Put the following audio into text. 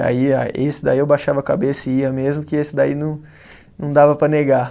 E aí a, esse daí eu baixava a cabeça e ia mesmo, que esse daí não não dava para negar.